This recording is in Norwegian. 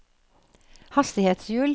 hastighetshjul